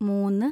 മൂന്ന്